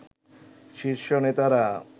শীর্ষ নেতারা